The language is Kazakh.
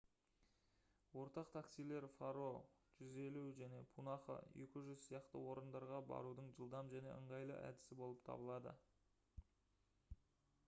ортақ таксилер паро 150 және пунаха 200 сияқты орындарға барудың жылдам және ыңғайлы әдісі болып табылады